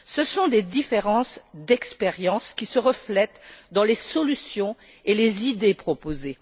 Ce sont des différences d'expériences qui se reflètent dans les solutions et les idées proposées.